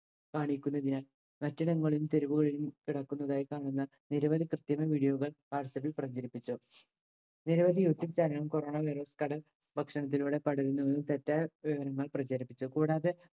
കാണിക്കുന്നതിനാൽ പട്ടണങ്ങളിലും തെരുവുകളിലും കിടക്കുന്നതായി കാണുന്ന നിരവധി കൃത്രിമ video കൾ whatsapp ൽ പ്രചരിപ്പിച്ചു. നിരവധി youtube channel കളും corona virus കട ഭക്ഷണത്തിലൂടെ പടരുന്നതും തെറ്റായ വിവരങ്ങൾ പ്രചരിപ്പിച്ചു. കൂടാതെ